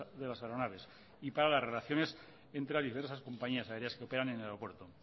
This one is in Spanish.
de las aeronaves y para las relaciones entre las diferentes compañías aéreas que operan en el aeropuerto